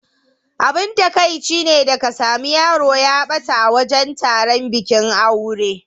Abin takaici ne da ka sami yaro ya ɓata a wajan taron bikin aure.